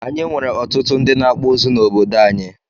Anyị nwere ọtụtụ ndị na akpụ ụzụ na obodo anyị